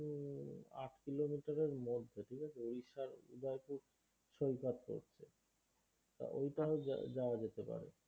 আট kilometer এর মধ্যে ঠিকআছে ওড়িষার উদয়পুর সৈকত রয়েছে তা ওইটাও যাওয়া যেতে পারে